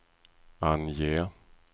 ange